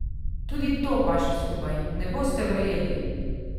Tudi to paše skupaj, ne boste verjeli!